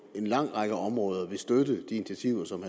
en lang række områder vil støtte de initiativer som